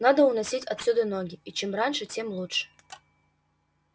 надо уносить отсюда ноги и чем раньше тем лучше